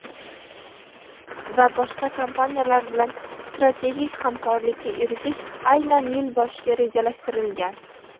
va boshqa kompaniyalar bilan strategik hamkorlikka erish aynan yil boshiga rejalashtirilgan.